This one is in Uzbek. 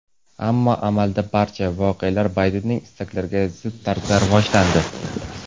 Ammo amalda barcha voqealar Baydenning istaklariga zid tarzda rivojlandi.